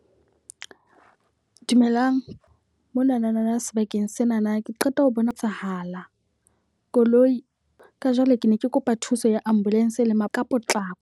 Dumelang, monanana sebakeng senana ke qeta ho bona etsahala koloi. Ka jwale ke ne ke kopa thuso ya ambulance ka potlako.